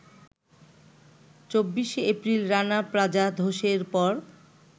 ২৪এপ্রিল Rana plaza ধসের পর